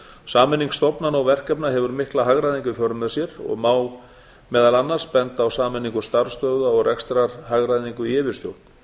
sameining stofnana og verkefna hefur mikla hagræðingu í för með sér og má meðal annars benda á sameiningu starfsstöðva og rekstrarhagræðingu í yfirstjórn